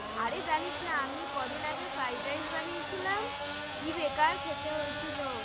আরে জানিস না আমি কদিন আগে fried rice বানিয়েছিলাম কি বেকার খেতে হয়েছিল